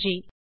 நன்றி